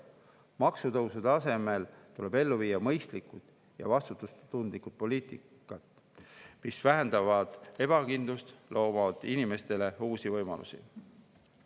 Maksutõusude asemel tuleb ellu viia mõistlikku ja vastutustundlikku poliitikat, mis vähendaks ebakindlust ja looks inimestele uusi võimalusi.